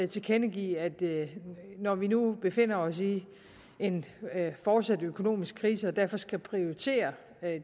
tilkendegive at når vi nu befinder os i en fortsat økonomisk krise og derfor skal prioritere